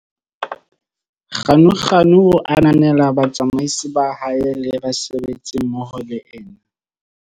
Ganuganu o ananela batsamaisi ba hae le basebetsi mmoho le ena.